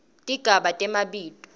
tigaba temabito